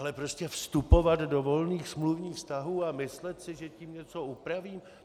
Ale prostě vstupovat do volných smluvních vztahů a myslet si, že tím něco upravím?